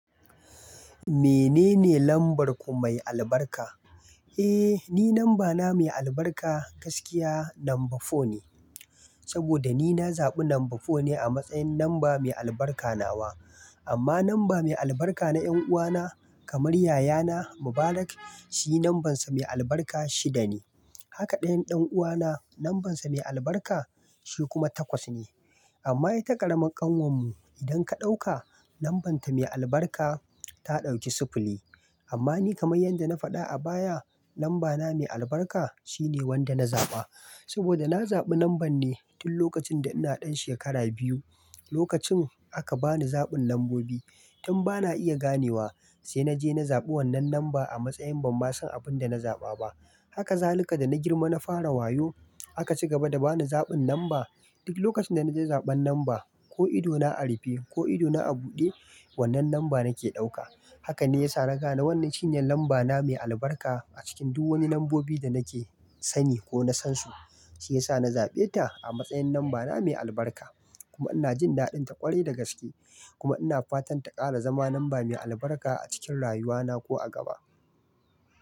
Menene lambar ku mai albarka? Eh, ni namba na mai albarka gaskiya namba four ne. Saboda ni na zaɓi namba four ne a matsayin namba mai albarka nawa. Amma namba mai albarka na ƴan uwa na kamar yaya na Mubarak, shi nambansa mai albarka shida ne. Haka ɗayan ɗan uwa na nambansa mai albarka shi kuma takwas ne. Amma ita ƙaramar ƙanwar mu idan ka ɗauka nambanta mai albarka ta ɗauki sifili. Amma ni kamar yadda na faɗa a baya namba na mai albarka shine wanda na zaɓa. Saboda na zabi numban ne tun lokacin da ina dan shekara biyu. Lokacin aka bani zabin numbobi Tun bana iya ganewa sai na je na zabi wannan numba a matsayin ban ma san abin da na zaba ba. Haka zalukar dana girma na fara wayyo aka cigaba da bani zabin numba. Duk lokacin da na je zaban numba ko idona a rufe ko idona a bude. Wannan numba da nake dauka Haka ne yasa na gane wannan shine numba na mai albarka a cikin duk wani numbobi da nake sani ko na sansu. Shiyasa na zabe ta a matsayin numba na mai albarka kuma ina jin daddinta kwarai da gaskiye kuma ina fatan ta kara zama numba mai albarka a cikin rayuwa na ko a gaba.